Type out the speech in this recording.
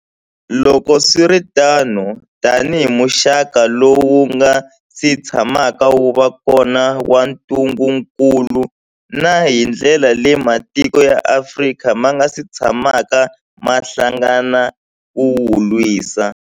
Loko swi ri tano, tanihi muxaka lowu wu nga si tshamaka wu va kona wa ntungukulu, na hi ndlela leyi matiko ya Afrika ma nga si tshamaka ma hlangana ku wu lwisa.